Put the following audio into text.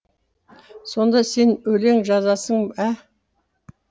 сонда сен өлең жазасың ә